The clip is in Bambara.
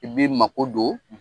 I b'i mago don, .